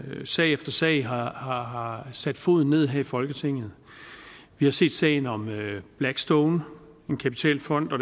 sag efter sag har har sat foden ned her i folketinget vi har set sagen om blackstone en kapitalfond og